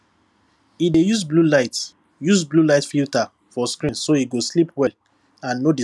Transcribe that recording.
e dey use bluelight use bluelight filter for screen so e go sleep well and no disturb im night rest